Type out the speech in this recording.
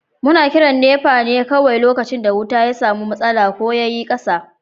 Muna kiran NEPA ne kawai lokacin da wuta ya samu matsala, ko dai yayi yawa ko ƙasa.